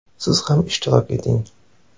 Siz ham ishtirok eting!